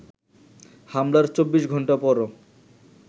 হামলার চব্বিশ ঘন্টা পরও